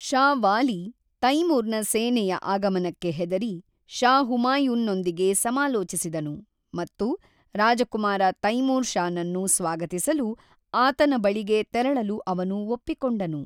ಷಾ ವಾಲಿ, ತೈಮೂರ್‌ನ ಸೇನೆಯ ಆಗಮನಕ್ಕೆ ಹೆದರಿ ಷಾ ಹುಮಾಯೂನ್‌ನೊಂದಿಗೆ ಸಮಾಲೋಚಿಸಿದನು ಮತ್ತು ರಾಜಕುಮಾರ ತೈಮೂರ್ ಷಾನನ್ನು ಸ್ವಾಗತಿಸಲು ಆತನ ಬಳಿಗೆ ತೆರಳಲು ಅವನು ಒಪ್ಪಿಕೊಂಡನು.